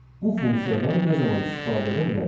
Bu funksiyadan nə zaman istifadə edə bilərik?